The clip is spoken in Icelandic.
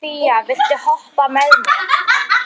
Fía, viltu hoppa með mér?